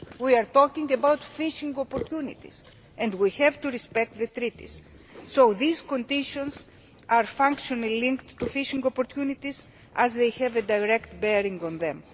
We are talking about fishing opportunities and we have to respect the Treaties, so these conditions are functionally linked to fishing opportunities as they have a direct bearing on them.